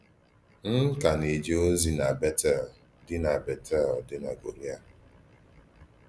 M̀ kà na-àjè òzì nà Bètèl dì nà Bètèl dì nà Kòréà.